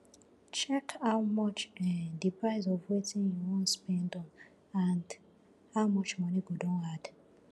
check how much um di price of wetin you wan spend on and how much money go don add